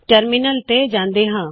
terminal ਤੇ ਜਾੰਦੇ ਹਾ